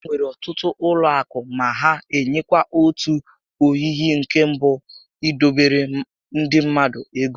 Enwere ọtụtụ ụlọ akụ ma ha enyekwa otu oyiyi nke bụ idobere ndị mmadụ ego